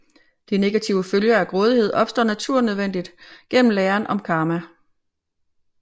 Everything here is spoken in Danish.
De negative følger af grådighed opstår naturnødvendigt gennem læren om karma